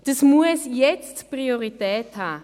Das muss jetzt Priorität haben.